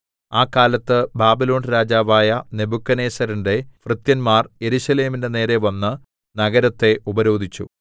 ആ കാലത്ത് ബാബിലോൺ രാജാവായ നെബൂഖദ്നേസരിന്റെ ഭൃത്യന്മാർ യെരൂശലേമിന്റെ നേരെ വന്ന് നഗരത്തെ ഉപരോധിച്ചു